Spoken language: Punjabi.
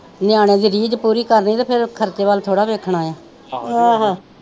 ਨਿਆਣੇ ਦੀ ਰੀਜ਼ ਪੂਰੀ ਕਰਨੀ ਤੇ ਫਿਰ ਖਰਚੇ ਵਲ ਥੋੜ੍ਹਾ ਵੇਖਣਾ ਆ